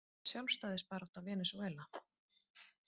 Sjálfstæðisbarátta Venesúela.